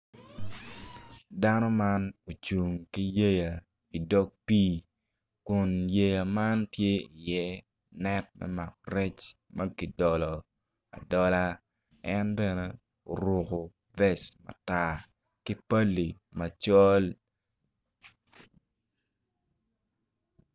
Dano man ocung ki yeya i dog pii kun yeya man tye iye net me mako rec ma ki dolo adola en bene oruku fec matar ki bali macol